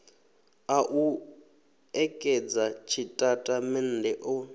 a u ṋekedza tshitatamennde o